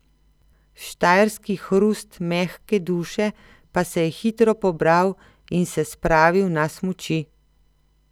Štajerski hrust mehke duše pa se je hitro pobral in se spravil na smuči.